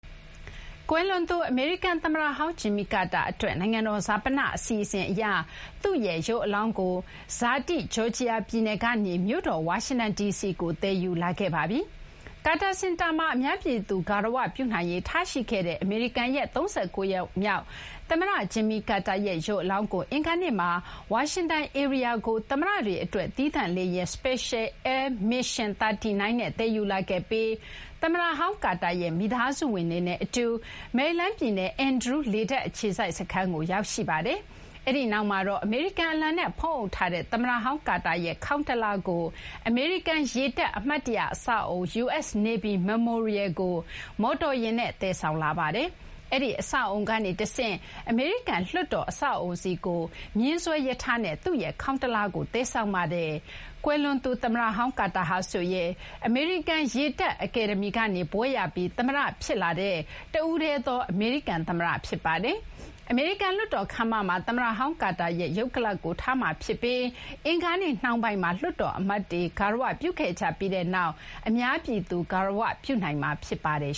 ကွယ်လွန်သူ အမေရိကန် သမ္မတဟောင်း ဂျင်မီ ကာတာ အတွက် နိုင်ငံတော် ဈာပန အစီအစဉ် အရ သူ့ရဲ့ ရုပ်အလောင်းကို ဇာတိ ဂျော်ဂျီယာ ပြည်နယ်ကနေ မြို့တော် ဝါရှင်တန် ဒီစီကို သယ်ယူလာခဲ့ပါပြီ။ ကာတာ စင်တာမှာ အများပြည်သူ ဂါရဝပြုနိုင်ရေး ထားရှိခဲ့တဲ့ အမေရိကန်ရဲ့ ၃၉ ယောက်မြောက် သမ္မတ ဂျင်မီကာတာရဲ့ ရုပ်အလောင်းကို အင်္ဂါနေ့မှာ ဝါရှင်တန် ဧရိယာကို သမ္မတတွေ အတွက် သီးသန့် လေယာဉ် Special Air Mission 39 နဲ့ သယ်ယူလာတာ ဖြစ်ပါတယ်။ သမ္မတဟောင်း ကာတာရဲ့ မိသားစုဝင်တွေနဲ့ သမ္မတဟောင်းတွေက မယ်ရီလန်း ပြည်နယ် အန်ဒရူး လေတပ် အခြေစိုက် စခန်းကို ရောက်ရှိ ကြိုဆိုကြပါတယ်။ အဲဒီနောက်မှာတော့ အမေရိကန် အလံနဲ့ဖုံးအုပ်ထားတဲ့ သမ္မတဟောင်း ကာတာရဲ့ ခေါင်းတလားကို အမေရိကန် ရေတပ် အမှတ်တရ အဆောက်အအုံ US Navy Memorial ကို မော်တော်ယာဉ်နဲ့ သယ်ဆောင်လာပါတယ်။ အဲဒီ အဆောက်အအုံကနေ တဆင့် အမေရိကန် လွှတ်တော် အဆောက်အအုံဆီကို မြင်းဆွဲ ရထားနဲ့ သူ့ရဲ့ ခေါင်းတလားကို သယ်ဆောင်လာခဲ့တာပါ။ ကွယ်လွန်သူ သမ္မတဟောင်း ကာတာဟာဆိုရင် အမေရိကန် ရေတပ် အကယ်ဒမီကနေ ဘွဲ့ရပြီး သမ္မတ ဖြစ်လာတဲ့ တဦးတည်းသော အမေရိကန် သမ္မတ ဖြစ်ပါတယ်။ အမေရိကန် လွှတ်တော် ခန်းမမှာ သမ္မတဟောင်း ကာတာရဲ့ ရုပ်ကလာပ်ကို ထားရှိမှာ ဖြစ်ပြီး အင်္ဂါနေ့ နှောင်းပိုင်းမှာ လွှတ်တော် အမတ်တွေ ဂါရ၀ ပြုခဲ့ကြပြီး အများပြည်သူ ဂါရဝပြုနိုင်မှာ ဖြစ်ပါတယ်